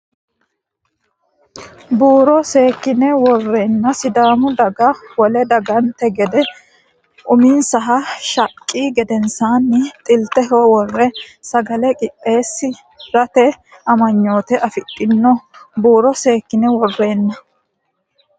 Buuro seekkine worreenna Sidaamu daga wole dagante gede uminsaha shaqqi gedensaanni xilteho worre sagale qixxeessi rate amanyoote afidhino Buuro seekkine worreenna.